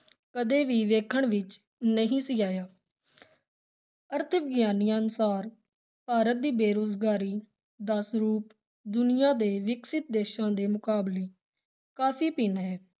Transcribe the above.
ਕਦੇ ਵੀ ਵੇਖਣ ਵਿਚ ਨਹੀਂ ਸੀ ਆਇਆ ਅਰਥ-ਵਿਗਿਆਨੀਆਂ ਅਨੁਸਾਰ ਭਾਰਤ ਦੀ ਬੇਰੁਜ਼ਗਾਰੀ ਦਾ ਸਰੂਪ ਦੁਨੀਆਂ ਦੇ ਵਿਕਸਿਤ ਦੇਸ਼ਾਂ ਦੇ ਮੁਕਾਬਲੇ ਕਾਫ਼ੀ ਭਿੰਨ ਹੈ।